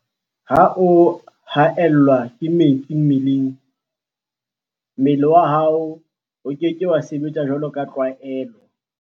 Ha o haellwa ke metsi mmeleng, mmele wa hao o ke ke wa sebetsa jwaloka tlwaelo.